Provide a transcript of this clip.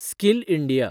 skill India